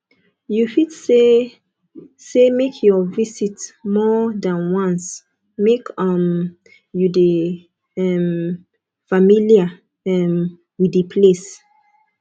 you fit say say make your visit more than once make um you de um familiar um with di place